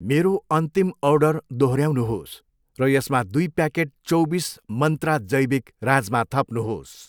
मेरो अन्तिम अर्डर दोहोऱ्याउनुहोस् र यसमा दुई प्याकेट चौबिस मन्त्रा जैविक राजमा थप्नुहोस्।